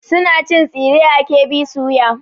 Suna cin tsire a KB soya.